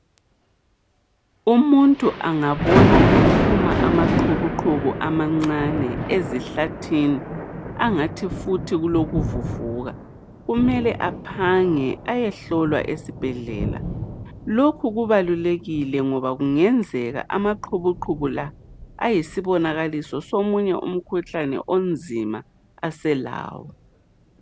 Umuntu angabona ephuma amaqhubuqhubu amancane ezihlathini angathi futhi kulokuvuvuka kumele aphange ayehlolwa esibhedlela. Lokhu kubalulekile ngoba kungenzeka amaqhubuqhubu lawa ayisibonakaliso somunye umkhuhlane onzima aselawo.